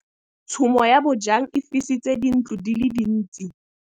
Tshumô ya bojang e fisitse dintlo di le dintsi.